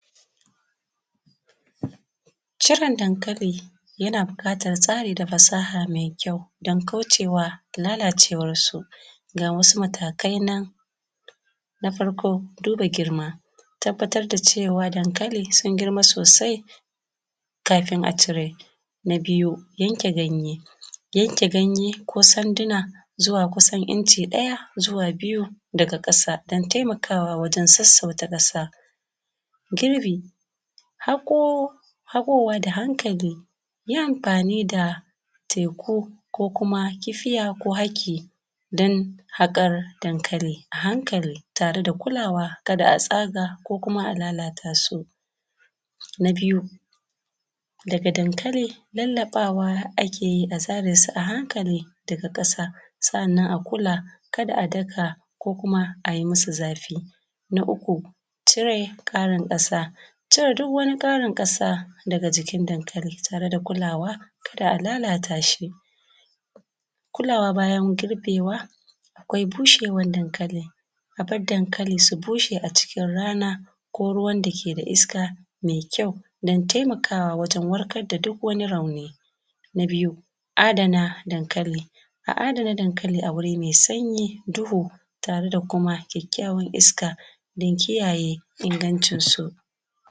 ciron dankali yana bukatan tsari da fasaha mai kyau dan kaucewa lalacewan su ga wasu matakai nan na farko duba girma tabbatar da cewa dan kali sun girma sosai kafin a cire na biyu yanke ganye yanke ganye ko sanduna zuwa kusan inci daya zuwa biyu daga kasa dan taimakawa gurin sassauta kasa girbi hakowa da hankali yi amfani da teku ko kuma kibiya ko haki din hakan dankali a hankali da kulawa kada tsaga ko kuma a lalata sun a biyu daga dankali lallabawa akeyi a zare su a hankali daga kasa sa’annan akula kada a kada ko kuma ayi musu zafi na uku cire Karin kasa cire duk wani Karin kasa daga jikin dan kali tare da kulawa ba’a lalatashi kulawa bayan girbewa akwai bushewan dankali aba:r dan kali su bushe a rana ko ruwan da keda iska mai kyau dan taimakawa wajen warkarda duk wani rauni na biyu adana dankali a adana dankali a wuri mai sanyi duhu tareda kuma kyakkyawan iska dan kiyaye ingancin su